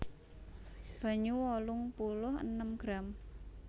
Banyu wolung puluh enem gram